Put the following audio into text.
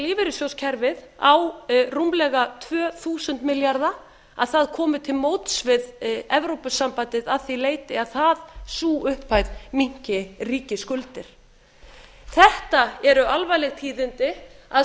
lífeyrissjóðakerfi á rúmlega tvö þúsund milljarða að það komi til móts við evrópusambandið að því leyti að sú upphæð minnki ríkisskuldir þetta eru alvarleg tíðindi að